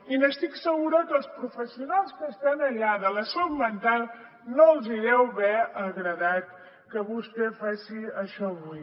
i estic segura que els professionals que estan allà de la salut mental no els deu haver agradat que vostè faci això avui